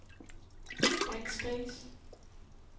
backspace